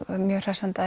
mjög hressandi að